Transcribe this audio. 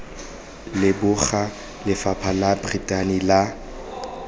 leboga lefapha la brithani la